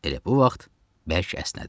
Elə bu vaxt bərk əsnədim.